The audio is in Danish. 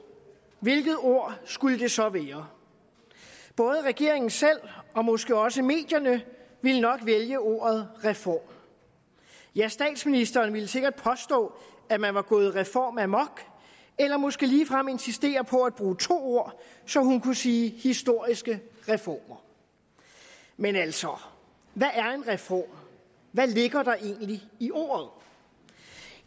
hvilket ord skulle det så være både regeringen selv og måske også medierne ville nok vælge ordet reform ja statsministeren ville sikkert påstå at man var gået reformamok eller måske ligefrem insistere på at bruge to ord så hun kunne sige historiske reformer men altså hvad er en reform hvad ligger der egentlig i ordet